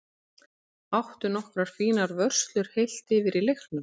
Átti nokkrar fínar vörslur heilt yfir í leiknum.